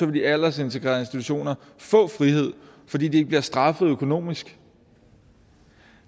de aldersintegrerede institutioner få frihed fordi de ikke bliver straffet økonomisk